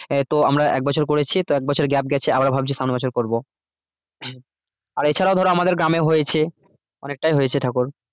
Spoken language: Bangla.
আহ তো আমরা এক বছর করেছি তো এক বছর gap গেছে আবারও ভাবছি সামনে বছর করবো আর এ ছাড়াও ধরো আমাদের গ্রামে হয়েছে অনেকটাই হয়েছে ঠাকুর